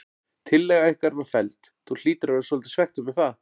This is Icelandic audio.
Tillaga ykkar var felld, þú hlýtur að vera svolítið svekktur með það?